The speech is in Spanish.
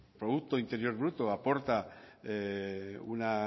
producto interior bruto aporta una